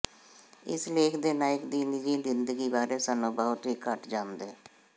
ਇਸ ਲੇਖ ਦੇ ਨਾਇਕ ਦੀ ਨਿੱਜੀ ਜ਼ਿੰਦਗੀ ਬਾਰੇ ਸਾਨੂੰ ਬਹੁਤ ਹੀ ਘੱਟ ਜਾਣਦੇ